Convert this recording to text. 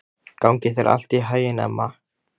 Gangi þér allt í haginn, Emma.